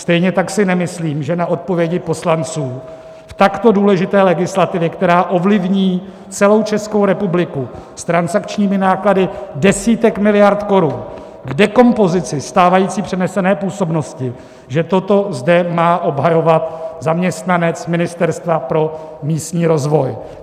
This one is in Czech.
Stejně tak si nemyslím, že na odpovědi poslanců v takto důležité legislativě, která ovlivní celou Českou republiku, s transakčními náklady desítek miliard korun k dekompozici stávající přenesené působnosti, že toto zde má obhajovat zaměstnanec Ministerstva pro místní rozvoj.